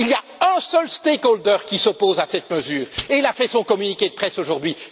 Il y a un seul stakeholder qui s'oppose à cette mesure, et il a fait son communiqué de presse aujourd'hui.